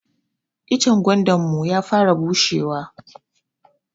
Icen gwandanmu ya fara bushe wa.